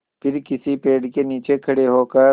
फिर किसी पेड़ के नीचे खड़े होकर